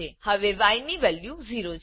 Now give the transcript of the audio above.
હવે ય ની વેલ્યુ 0 છે